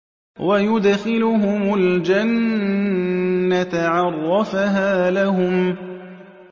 وَيُدْخِلُهُمُ الْجَنَّةَ عَرَّفَهَا لَهُمْ